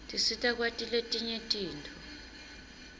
tisita kwati tintfo letinyenti